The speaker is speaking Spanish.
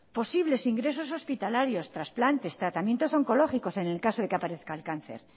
posibles ingresos hospitalarios trasplantes tratamientos oncológicos en el caso de que aparezca el cáncer